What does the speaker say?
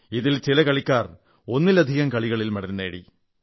ഇതിൽ ചില കളിക്കാർ ഒന്നിലധികം ഇനങ്ങളിൽ മെഡൽ നേടി